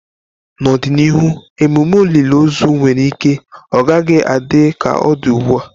N'ọdịnihu, ememe olili ozu nwere ike ọ gaghị adị ka ọ dị ugbu a.